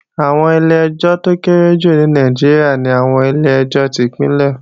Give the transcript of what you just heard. Àwọn ilé-ẹjọ́ tó kéré jù ní Nàìjíríà ni àwọn ilé-ẹjọ́ tí Ìpínlẹ̀